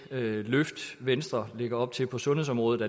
det løft venstre lægger op til på sundhedsområdet